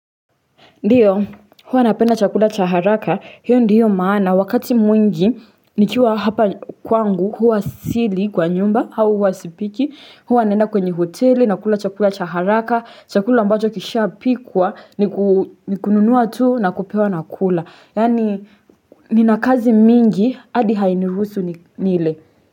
Ndio huwa napenda chakula cha haraka hiyo ndiyo maana wakati mwingi nikiwa hapa kwangu huwa sili kwa nyumba au huwa sipiki huwa naenda kwenye hoteli na kula chakula cha haraka chakula ambacho kishapikwa nikununua tu na kupewa na kula, yaani nina kazi mingi adi hainiruhusu nile.